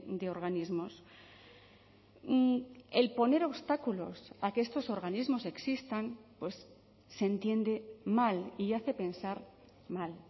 de organismos el poner obstáculos a que estos organismos existan pues se entiende mal y hace pensar mal